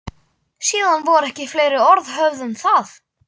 Síðan voru ekki fleiri orð höfð um það.